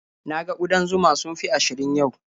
Na ga ƙudan zuma sun fi ashirin yau.